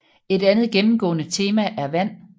Et andet gennemgående tema er vand